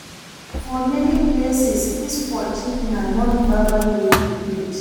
For many places, kiss for cheek na non verbal way to greet